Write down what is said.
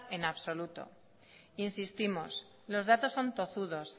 en absoluto insistimos los datos son tozudos